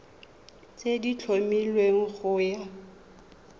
tse di tlhomilweng go ya